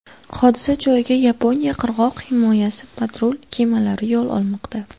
Hodisa joyiga Yaponiya qirg‘oq himoyasi patrul kemalari yo‘l olmoqda.